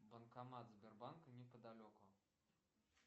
банкомат сбербанка неподалеку